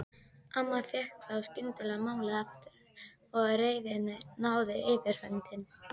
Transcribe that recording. Amma fékk þá skyndilega málið aftur og reiðin náði yfirhöndinni.